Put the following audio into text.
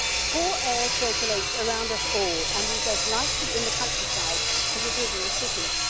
Poor air circulates around us all and is as likely in the countryside as it is in the cities.